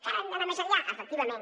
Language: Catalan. encara hem d’anar més enllà efectivament